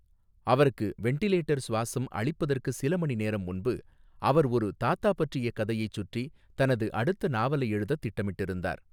அவருக்கு வென்டிலேட்டர் சுவாசம் அளிப்பதற்கு சில மணிநேரம் முன்பு, அவர் ஒரு தாத்தா பற்றிய கதையைச் சுற்றி தனது அடுத்த நாவலை எழுதத் திட்டமிட்டிருந்தார்.